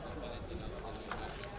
Adətən hər gün eyni hərəkət.